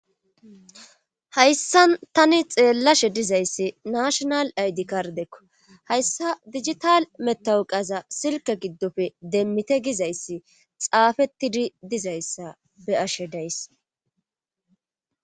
hayssan tani xeellashe dizayssi nashonal aydi kardekko hayssa digital metawuqaza silke giddofe demmite gizayssi xaafettidi dizayssa be'ashe days